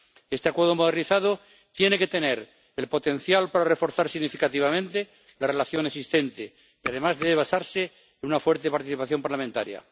Este Acuerdo modernizado tiene que tener el potencial para reforzar significativamente la relación existente y, además, debe basarse en una fuerte participación parlamentaria.